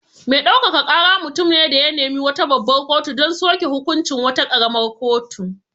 Me ɗaukaka kara mutum ne da ya nemi wata babbar kotu don soke hukuncin wata ƙaramar kotu.